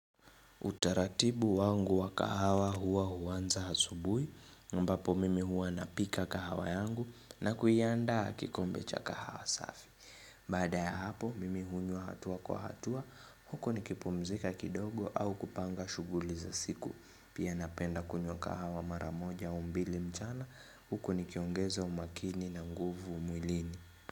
Utaratibu wangu wa kahawa huwa huanza asubuhi ambapo mimi huwa napika kahawa yangu na kuiandaa kikombe cha kahawa safi. Baada ya hapo mimi hunywa hatua kwa hatua huko nikipumzika kidogo au kupanga shughuli za siku. Pia napenda kunywa kahawa mara moja au mbili mchana huku nikiongeza umakini na nguvu mwilini.